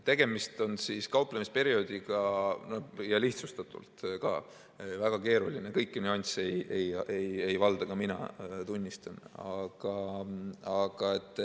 Tegemist on kauplemisperioodiga ja lihtsustatult ka väga keeruline, kõiki nüansse ei valda ka mina, tunnistan.